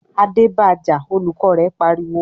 "Adé ba jà!" Olùkọ́ rẹ̀ pariwo.